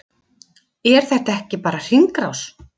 Er þetta ekki bara hringrás?